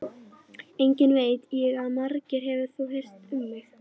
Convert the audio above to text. Einnig veit ég að margt hefur þú heyrt um mig.